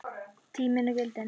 Tíminn og gildin